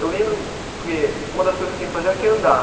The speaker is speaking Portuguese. Eu lembro, porque uma das coisas que eu tinha que fazer era que andar